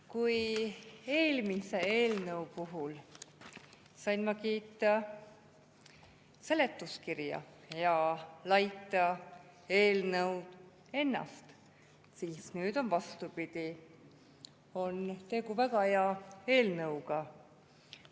Kui eelmise eelnõu puhul sain ma kiita seletuskirja ja laita eelnõu ennast, siis nüüd on vastupidi: tegu on väga hea eelnõuga.